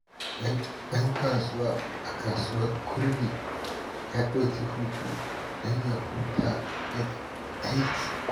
Wani ɗan kasuwa a Kasuwar Kurmi ya ɗauki hutu don ya huta daga aiki.